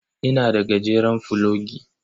Ina da gajeren fulogi.